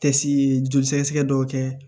Tɛ si joli sɛgɛsɛgɛ dɔw kɛ